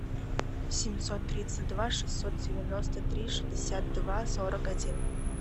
семьсот тридцать два шестьсот девяносто три шестьдесят два сорок один